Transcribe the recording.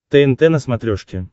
тнт на смотрешке